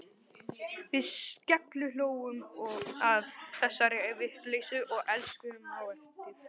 Við skellihlógum að þessari vitleysu og elskuðumst á eftir.